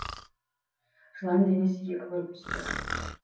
жылан денесі екі бөлініп түсіпті